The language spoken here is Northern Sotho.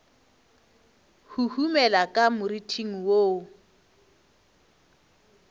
huhumela ka moriting wo wo